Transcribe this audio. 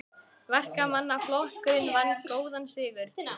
Verkamannaflokkurinn vann góðan sigur